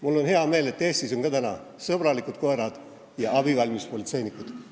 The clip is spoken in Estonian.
Mul on hea meel, et Eestis on ka täna sõbralikud koerad ja abivalmis politseinikud.